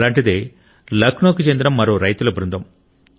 అలాంటిదే లక్నోకు చెందిన మరో రైతుల బృందం